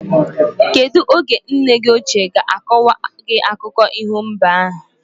Kedu oge nne gi oche ga akowa gi akụkọ iho mbe ahu?